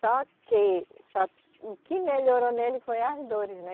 Só que, só o que melhorou nele foi as dores, né?